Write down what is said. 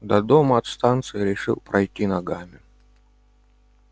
до дома от станции решил пройти ногами